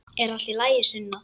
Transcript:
Er allt í lagi, Sunna?